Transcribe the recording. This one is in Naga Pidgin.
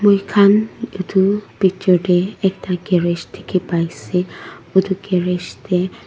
moi khan etu picture te ekta garage dekhi paise etu garage te--